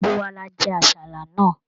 Gbogbo wa la jẹ àsálà náà.